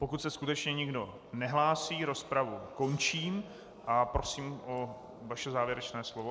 Pokud se skutečně nikdo nehlásí, rozpravu končím a prosím o vaše závěrečné slovo.